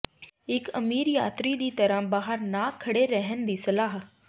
ਇੱਕ ਅਮੀਰ ਯਾਤਰੀ ਦੀ ਤਰ੍ਹਾਂ ਬਾਹਰ ਨਾ ਖੜ੍ਹੇ ਰਹਿਣ ਦੀ ਸਲਾਹ